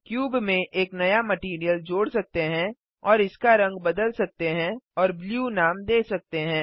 cube में एक नया मटैरियल जोड़ सकते हैं और इसका रंग बदल सकते हैं और ब्लू नाम दे सकते हैं